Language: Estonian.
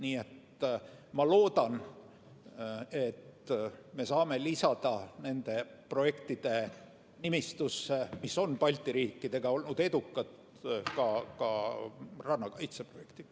Nii et ma loodan, et me saame nende projektide nimistusse, mis on Balti riikide koostöös olnud edukad, lisada ka rannakaitseprojektid.